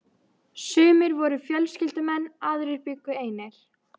Sumir voru fjölskyldumenn, aðrir bjuggu einir.